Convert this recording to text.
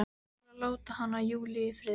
Hún fari og láti hana, Júlíu, í friði.